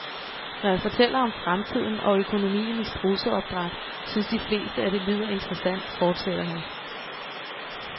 Når jeg fortæller om fremtiden og økonomien i strudseopdræt, synes de fleste, at det lyder interessant, fortsætter han.